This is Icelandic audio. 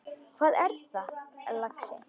Hvað er það, lagsi?